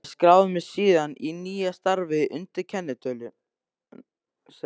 Ég skráði mig síðan í nýja starfið undir kennitölu sem